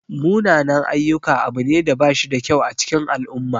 Munanan-ayyuka abu ne da bashida kyau a cikin al'umma.